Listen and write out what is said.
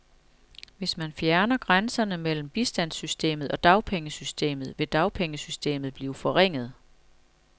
Hvis man fjerner grænserne mellem bistandssystemet og dagpengesystemet, vil dagpengesystemet blive forringet.